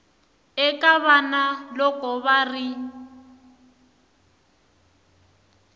eka vana loko va ri